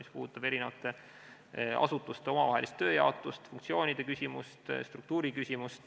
See puudutab eri asutuste tööjaotust, funktsioonide küsimust, struktuuriküsimust.